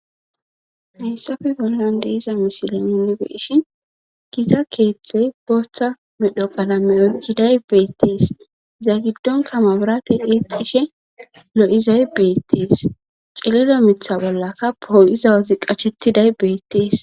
heyssafe bollan deiza misile minnibeeshin giita keethtey booththa medho qalame okkiday beettiis za giddon kamabirate eecishe lo7izay beettiis cililo mitha bollaka poo7iza wozi qacshetiday beettiis